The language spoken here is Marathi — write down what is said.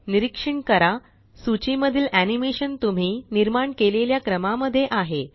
निरीक्षण करा सूची मधील एनीमेशन तुम्ही निर्माण केलेल्या क्रमा मध्ये आहे